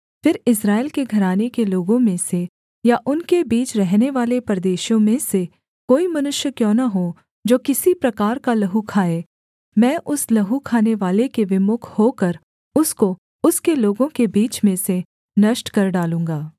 फिर इस्राएल के घराने के लोगों में से या उनके बीच रहनेवाले परदेशियों में से कोई मनुष्य क्यों न हो जो किसी प्रकार का लहू खाए मैं उस लहू खानेवाले के विमुख होकर उसको उसके लोगों के बीच में से नष्ट कर डालूँगा